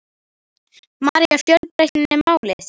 María: Fjölbreytnin er málið?